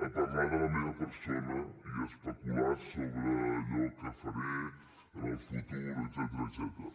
a parlar de la meva persona i a especular sobre allò que faré en el futur etcètera